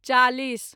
चालीस